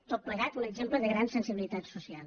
tot plegat un exemple de gran sensibilitat social